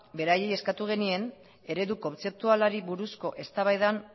beraieieskatu genien eredu kontzeptualari buruzko eztabaidan